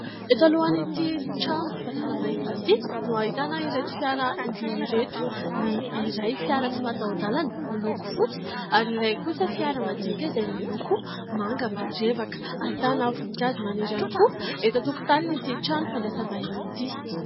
Eto alohan'ity trano fandraisambahiny ity no ahitana ireto fiara roa ireto. Ny iray fiara tsy mataho-dalana miloko fotsy ary ny iray kosa fiara madinika izay miloko manga marevaka. Ahitana voninkazo maniry ihany koa eto tokotanin'ity trano fandrisambahiny ity.